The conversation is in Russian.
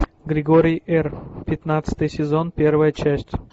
григорий р пятнадцатый сезон первая часть